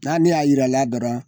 N'ale y'a jira a la dɔrɔn